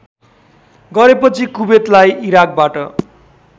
गरेपछि कुबेतलाई इराकबाट